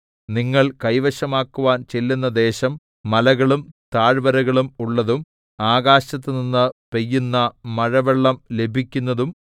നിങ്ങൾ കൈവശമാക്കുവാൻ ചെല്ലുന്ന ദേശം മലകളും താഴ്വരകളും ഉള്ളതും ആകാശത്തുനിന്ന് പെയ്യുന്ന മഴവെള്ളം ലഭിക്കുന്നതും